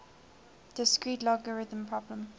discrete logarithm problem